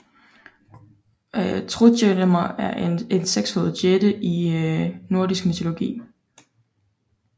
Trudgelmer er en sekshovedet jætte i nordisk mytologi